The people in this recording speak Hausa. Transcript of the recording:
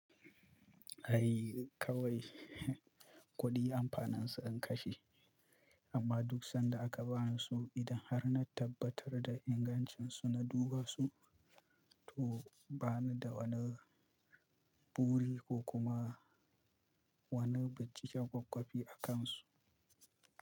Ai kawai kuɗi amfanin su ka kashe, amma duk sanda aka ba ni su idan har na tabbatar da ingancin su na duba su, to bani da woni buri ko kuma woni binciken kwak-kwafi a kan su.